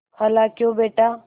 खालाक्यों बेटा